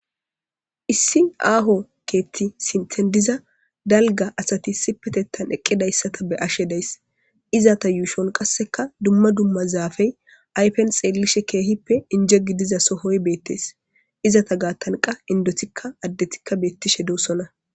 Issi aaho keetti sintendiza dalga asati sipetettan eqqidayssata be ashe dayss izata yuushon qasseka dumma dumma zaafey aypen xeellishe keehippe inje gidiza sohoy beettees izata gaattanqa indotikka addetikka beettishe doossona.